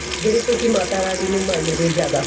ਜਿਹੜੀ ਤੁਸੀਂ ਮਾਤਾ ਰਾਣੀ ਨੂੰ ਮੰਨਦੇ ਜਿਆਦਾ